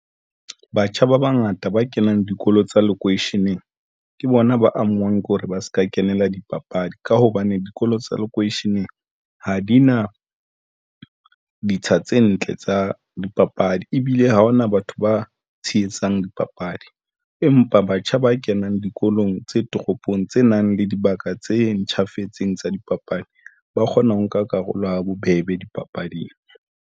Batjha ba bangata ba kenang dikolo tsa lekweisheneng ke bona ba amehang kore ba se ka kenela dipapadi ka hobane dikolo tsa lekweisheneng ha di na ditsha tse ntle tsa dipapadi ebile ha hona batho ba tshehetsang dipapadi, empa batjha ba kenang dikolong tse toropong tse nang le dibaka tse ntjhafetseng tsa dipapadi ba kgona ho nka karolo ha bobebe dipapading.